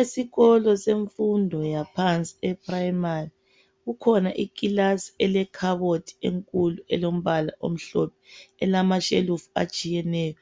Esikolo semfundo yaphansi ephuremari kukhona ikhabothi enkulu elombala omhlophe elamashelufu atshiyeneyo